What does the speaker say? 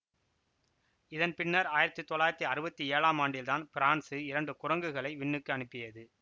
இதன் பின்னர் ஆயிரத்தி தொள்ளாயிரத்தி அறுவத்தி ஏழாம் ஆண்டில்தான் பிரான்சு இரண்டு குரங்குகளை விண்ணுக்கு அனுப்பியது